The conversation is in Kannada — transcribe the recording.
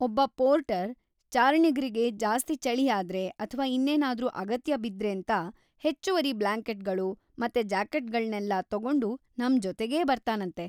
ಒಬ್ಬ ಪೋರ್ಟರ್, ಚಾರಣಿಗ್ರಿಗೆ ಜಾಸ್ತಿ ಚಳಿ ಆದ್ರೆ ಅಥ್ವಾ ಇನ್ನೇನಾದ್ರೂ ಅಗತ್ಯ ಬಿದ್ರೇಂತ ಹೆಚ್ಚುವರಿ ಬ್ಲಾಂಕೆಟ್‌ಗಳು ಮತ್ತೆ ಜಾಕೆಟ್‌ಗಳ್ನೆಲ್ಲ ತಗೊಂಡು ನಮ್‌ ಜೊತೆಗೇ ಬರ್ತಾನಂತೆ.